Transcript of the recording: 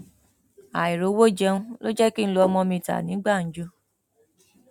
àìrówó jẹun ló jẹ kí n lu ọmọ mi ta ní gbàǹjo